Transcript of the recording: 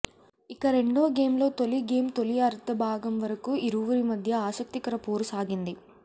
ఇక రెండో గేమ్లో తొలి గేమ్ తొలి అర్థ భాగం వరకూ ఇరువురి మధ్య ఆసక్తికర పోరు సాగింది